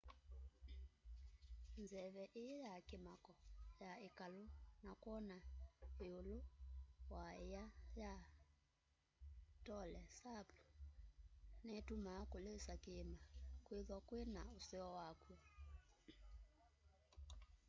nzeve ii ya kimako ya ikalu na kwona iulu wa iia ya tonle sap nitumaa kulisa kiima kwithwa kwi na useo wakw'o